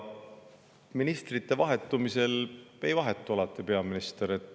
Ministrite vahetumisel ei vahetu alati peaminister.